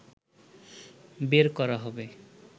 বের করা হবে